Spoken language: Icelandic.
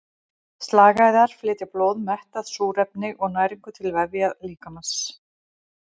Slagæðar flytja blóð mettað súrefni og næringu til vefja líkamans.